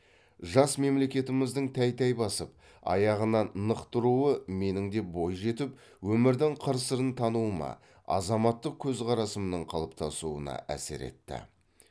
жас мемлекетіміздің тәй тәй басып аяғынан нық тұруы менің де бойжетіп өмірдің қыр сырын тануыма азаматтық көзқарасымның қалыптасуына әсер етті